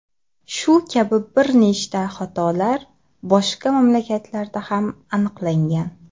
Shu kabi bir nechta holatlar boshqa mamlakatlarda ham aniqlangan.